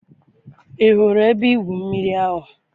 I hụrụ ebe-igwụ mmiri ahụ?